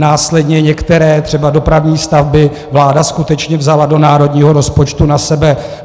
Následně některé, třeba dopravní stavby, vláda skutečně vzala do národního rozpočtu na sebe.